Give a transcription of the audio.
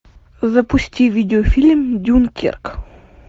запусти видеофильм дюнкерк